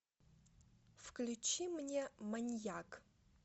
включи мне маньяк